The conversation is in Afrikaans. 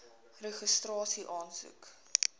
registrasieaansoek